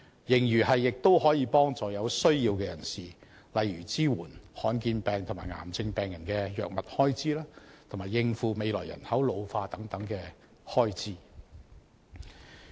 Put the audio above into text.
盈餘亦可幫助有需要人士，例如支援罕見疾病和癌症病人的藥物開支，以及應付未來人口老化等開支。